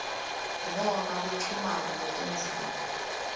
noma kuchumana kwetindzima